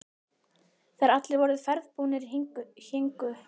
Þegar allir voru ferðbúnir héngu föt Möggu ennþá á snaganum.